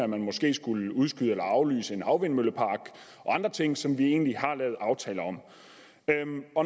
man måske skulle udskyde eller aflyse en havvindmøllepark og andre ting som vi egentlig har lavet aftaler om